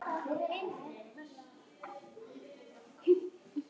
Logi á sex dætur.